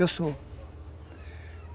Eu sou.